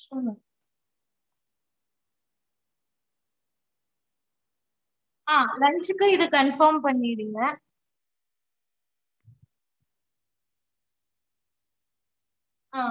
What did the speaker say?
okay mam சரி mam so இது வந்து confirm பண்ணிட்டீங்களா so morning வந்து இட்லி, தோச, பொங்கல் okay ங்க்லா வட.